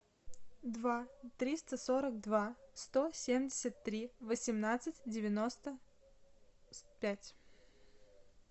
два триста сорок два сто семьдесят три восемнадцать девяносто пять